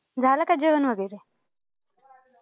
झालं का जेवण वगैरे?